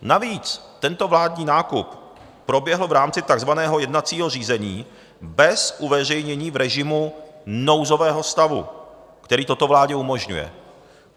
Navíc tento vládní nákup proběhl v rámci takzvaného jednacího řízení bez uveřejnění v režimu nouzového stavu, který toto vládě umožňuje.